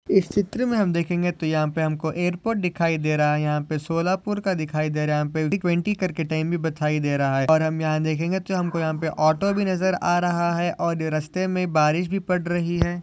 इस चित्र मे हम देखेंगे तो यहा पे हमको एयरपोर्ट दिखाई दे रहा है। यहापे सोलापुर का दिखाई दे रहा है। याहा पे ट्वेन्टी करके टाइम भी बथाई दे रहा है और हम यहा देखेंगे तो हमको यहा पे ऑटो भी नजर आ रहा है और ये रस्ते मे बारिश भी पड रही है।